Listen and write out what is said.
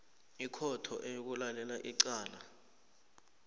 ikhotho eyokulalela icala